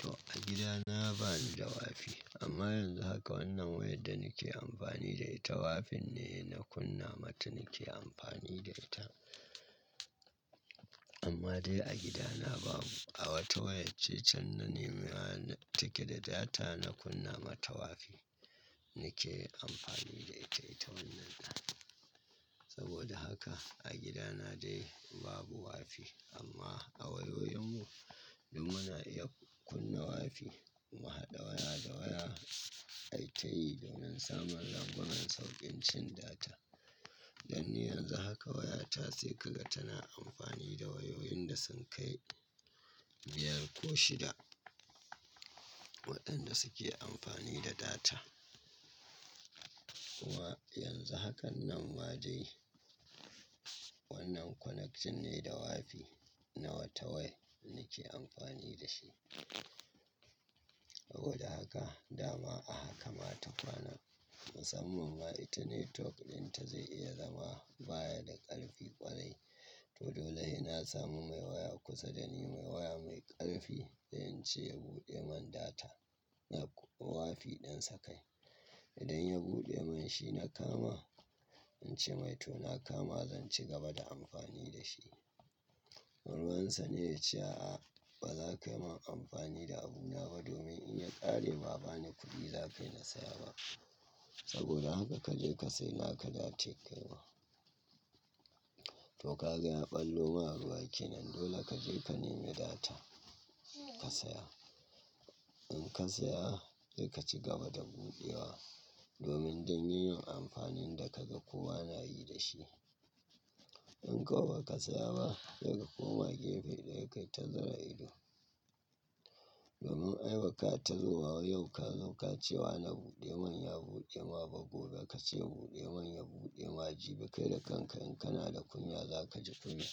To a gida na ba ni da wifi amma yanzu haka wannan wayar da nake amfani da ita wifin ne na kunna mata nake amfani da ita. Amma dai a gida na babu a wata wayar cecen na nemewa take da data na kunna mata wifi nake amfani da ita wannan ɗan. Saboda haka a gida na dai babu wifii amma a wayoyinmu duk muna iya kunna wifi mu haɗa waya da waya ai tayi launin saman lambunan sauƙin cin data. Dan yanzu haka wayata sai ka ga tana amfani da wayoyin da sun kai biyar ko shida waɗanda suke amfani da data. Wa yanzu hakan nan ma dai wannan connection ne da wawifi na wata waya nake amfani da shi. Saboda haka dama a haka ma ta kwana musamman ma internet talk ɗinta zai iya zama baya da ƙarfi ƙwarai to dole ina samu mai waya kusa da ni mai waya mai ƙarfi da in ce ya buɗe man data na wifi ɗinsa kai. Idan ya buɗe mai shi na kama in ce mai to na kama zan ci gaba da amfani da shi. Ruwansa ne ya ce a'a ba za ka yi min amfani da abuna ba domin in ya ƙare ba bani kuɗi za ka yi na saya ba. Saboda haka ka je ka siye naka da ace kai wa to ka ga ya ɓallo ma ruwaki nan dole ka je ka nemi data ka saya. In ka saya sai ka cigaba da buɗewa domin don yin amfanin da kaga kowa na yi da shi. In kuma baka siya ba sai ka koma gefe ɗaya ka yi ta zura ido. Domin ai ba ka ta zo wa yau ka zo ka ce wa na buɗe man ya buɗe ma ba gobe ka ce buɗe man ya buɗe ma jibi kai da kanka in kana da kunya za ka ji kunya